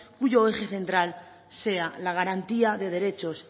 cuyo eje central sea la garantía de derechos